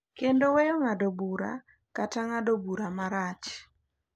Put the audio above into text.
Kendo weyo ng’ado bura kata ng’ado bura marach.